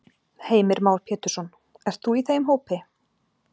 Heimir Már Pétursson: Ert þú í þeim hópi?